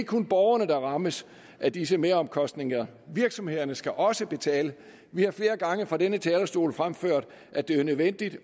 kun borgerne der rammes af disse meromkostninger virksomhederne skal også betale vi har flere gange fra denne talerstol fremført at det er nødvendigt